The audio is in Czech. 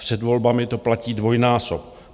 Před volbami to platí dvojnásob.